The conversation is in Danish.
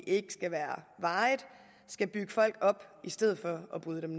ikke skal være varigt skal bygge folk op i stedet for at bryde dem